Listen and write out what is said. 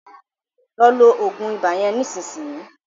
Lọ lo òògùn ibà yẹn nísìnyìí.